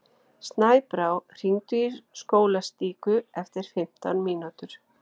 Snæbrá, hringdu í Skólastíku eftir fimmtán mínútur.